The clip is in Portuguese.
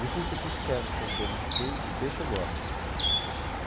Gelfite fish, que é que é um bolinho de queijo de peixe, eu gosto até.